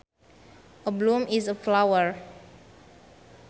A bloom is a flower